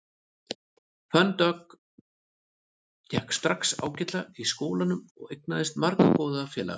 Fönn Dögg gekk strax ágætlega í skólanum og eignaðist marga góða félaga.